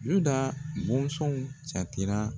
Yuda bonsɔnw jatera